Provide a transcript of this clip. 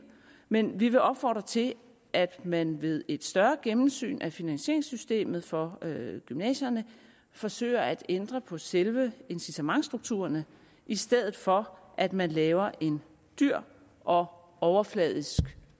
men vi vil opfordre til at man ved et større gennemsyn af finansieringssystemet for gymnasierne forsøger at ændre på selve incitamentsstrukturerne i stedet for at man laver en dyr og overfladisk